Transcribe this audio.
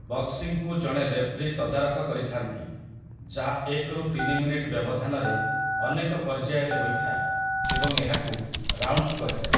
ବକ୍ସିଂକୁ ଜଣେ ରେଫରି ତଦାରଖ କରିଥାନ୍ତି, ଯାହା ଏକରୁ ତିନି ମିନିଟ୍ ବ୍ୟବଧାନରେ ଅନେକ ପର୍ଯ୍ୟାୟରେ ହୋଇଥାଏ ଏବଂ ଏହାକୁ 'ରାଉଣ୍ଡସ୍' କୁହାଯାଏ ।